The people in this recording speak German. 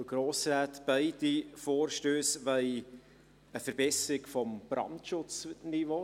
Beide Vorstösse wollen eine Verbesserung des Brandschutzniveaus.